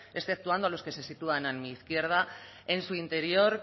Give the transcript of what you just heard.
exceptuando a los que se sitúan a mi izquierda en su interior